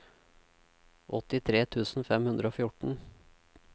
åttitre tusen fem hundre og fjorten